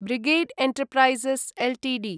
brigade enterprises Ltd